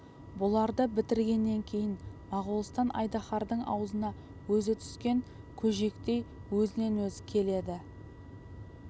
бұларды бітіргеннен кейін моғолстан айдаһардың аузына өзі түскен көжектей өзінен өзі келеді